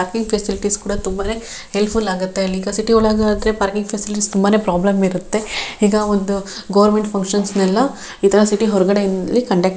ಈ ಫ್ಯಾಸಿಲಿಟೀಸ್ ಕೂಡ ತುಂಬಾನೇ ಹೆಲ್ಪ್ ಫುಲ್ ಆಗತ್ತೆ ಇಂಥ ಸಿಟಿ ಒಳಗೆ ಆದ್ರೆ ಪಾರ್ಕಿಂಗ್ ಫ್ಯಾಸಿಲಿಟೀಸ್ ತುಂಬಾನೇ ಪ್ರಾಬ್ಲಮ್ ಇರತ್ತ್ತೆ ಈಗ ಒಂದು ಗವರ್ನಮೆಂಟ್ --